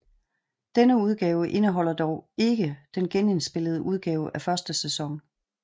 Denne udgave indeholder dog ikke den genindspillede udgave af første sæson